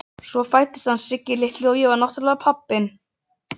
Svo fæddist hann Siggi litli og ég var náttúrlega pabbinn.